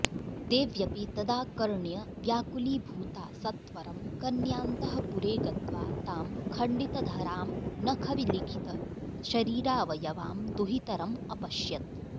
देव्यपि तदाकर्ण्य व्याकुलीभूता सत्वरं कन्यान्तःपुरे गत्वा तां खण्डिताधरां नखविलिखितशरीरावयवां दुहितरमपश्यत्